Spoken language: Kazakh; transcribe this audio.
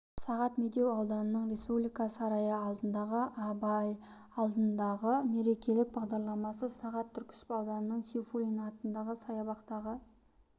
сағат медеу ауданының республика сарайы алдындағы абай алаңындағы мерекелік бағдарламасы сағат түркісіб ауданының сейфуллин атындағы саябақтағы